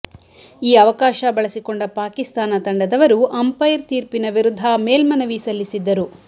ಈ ಅವಕಾಶ ಬಳಸಿಕೊಂಡ ಪಾಕಿಸ್ತಾನ ತಂಡದವರು ಅಂಪೈರ್ ತೀರ್ಪಿನ ವಿರುದ್ಧ ಮೇಲ್ಮನವಿ ಸಲ್ಲಿಸಿದ್ದರು